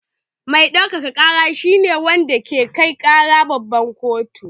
Mai ɗaukaka ƙara shi ne wanda ke kai ƙara babban kotu.